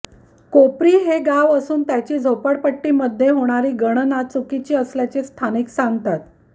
कोपरी हे गाव असून त्याची झोपडपट्टीमध्ये होणारी गणना चुकीची असल्याचे स्थानिक सांगतात